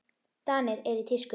Danir eru í tísku.